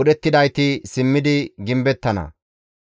budhettidayti simmidi gimbettana.